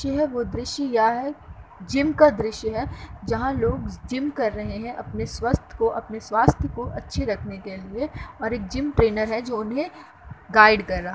यह वो दृश्य या है जिम का दृश्य है जहाँ लोग जिम कर रहे हैं। अपने स्वस्थ को अपने स्वास्थ को अच्छे रखने के लिए और एक जिम ट्रैनर है जो उन्हे गाईड कर रहा --